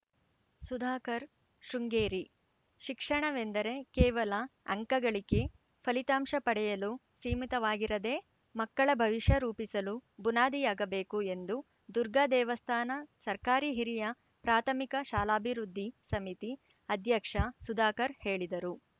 ಸುಧಾಕರ್‌ ಶೃಂಗೇರಿ ಶಿಕ್ಷಣವೆಂದರೆ ಕೇವಲ ಅಂಕಗಳಿಕೆ ಫಲಿತಾಂಶ ಪಡೆಯಲು ಸೀಮಿತವಾಗಿರದೇ ಮಕ್ಕಳ ಭವಿಷ್ಯ ರೂಪಿಸಲು ಬುನಾದಿಯಾಗಬೇಕು ಎಂದು ದುರ್ಗಾದೇವಸ್ಥಾನ ಸರ್ಕಾರಿ ಹಿರಿಯ ಪ್ರಾಥಮಿಕ ಶಾಲಾಭಿವೃದ್ಧಿ ಸಮಿತಿ ಅಧ್ಯಕ್ಷ ಸುಧಾಕರ್‌ ಹೇಳಿದರು